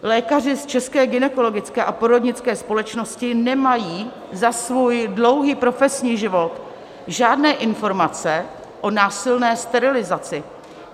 Lékaři z České gynekologické a porodnické společnosti nemají za svůj dlouhý profesní život žádné informace o násilné sterilizaci.